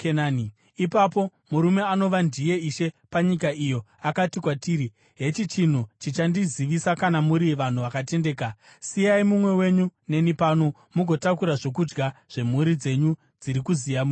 “Ipapo murume anova ndiye ishe panyika iyo akati kwatiri, ‘Hechi chinhu chichandizivisa kana muri vanhu vakatendeka: Siyai mumwe wenyu neni pano, mugotakura zvokudya zvemhuri dzenyu dziri kuziya muende.